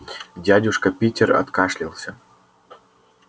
дядюшка питер откашлялся